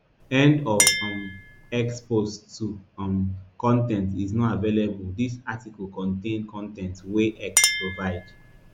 end of um x post two um con ten t is not available dis article contain con ten t wey x provide